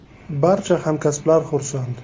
Barcha hamkasblar xursand.